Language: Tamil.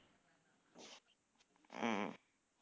உம்